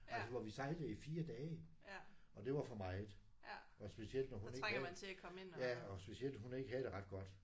Altså hvor vi sejlede i 4 dage. Og det var for meget. Og specielt når hun ikke havde ja og specielt hun ikke havde det ret godt